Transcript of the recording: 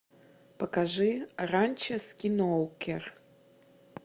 покажи ранчо скинуокер